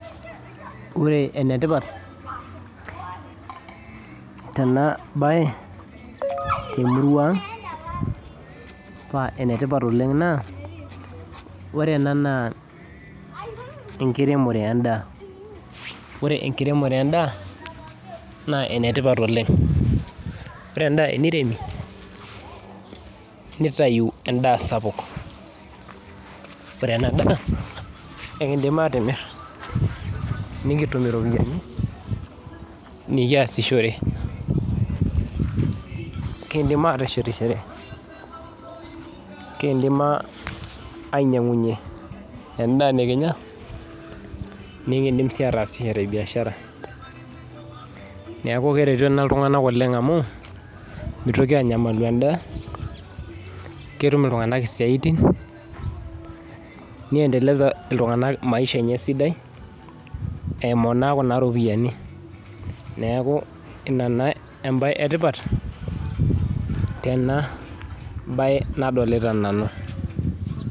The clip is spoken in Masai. Ore enetipat, tenabae temurua ang, pa enetipat oleng naa, ore ena naa enkiremore endaa. Ore enkiremore endaa, naa enetipat oleng. Ore endaa eniremi, nitayu endaa sapuk. Ore enadaa, ekidim atimir, nikitum iropiyiani nikiasishore. Kidim ateshetishore, kidim ainyang'unye endaa nikinya, nikidim si ataasishore biashara. Neeku keretu ena iltung'anak oleng amu, mitoki anyamalu endaa, ketum iltung'anak isiaitin, ni endeleza iltung'anak maisha enye esidai, eimu naa kuna ropiyiani. Neeku ina naa ebae etipat, tenabae nadolita nanu.